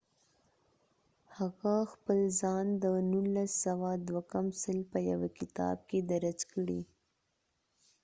هغه خپل ځان د 1998 په یوه کتاب کې درج کړي